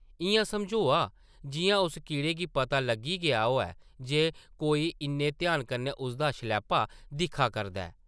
इʼयां समझोआ जिʼयां उस कीड़े गी पता लग्गी गेदा होऐ जे कोई इन्ने ध्याना कन्नै उसदा शलैपा दिक्खा करदा ऐ ।